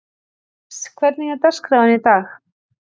Níls, hvernig er dagskráin í dag?